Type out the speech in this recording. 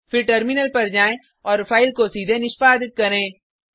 फिर टर्मिनल पर जाएँ और फाइल को सीधे निष्पादित करें